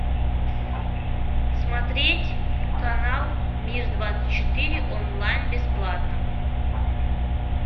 смотреть канал мир двадцать четыре онлайн бесплатно